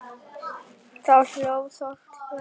Þá hló Þórkell og sagði